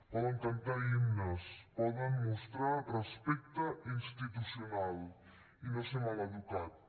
poden cantar himnes poden mostrar respecte institucional i no ser mal educats